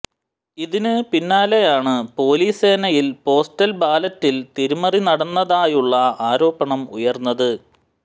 ഇതിന് പിന്നാലെയാണ് പൊലീസ് സേനയിൽ പോസ്റ്റൽ ബാലറ്റിൽ തിരിമറി നടന്നതായുള്ള ആരോപണം ഉയർന്നത്